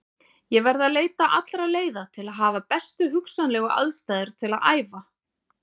Ég verð að leita allra leiða til að hafa bestu hugsanlegu aðstæður til að æfa.